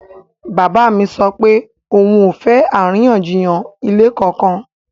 Bàbá mi sọ pé òun ò fẹ́ àríyànjiyàn ilẹ̀ kankan